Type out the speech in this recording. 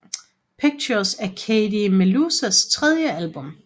Pictures er Katie Meluas tredje album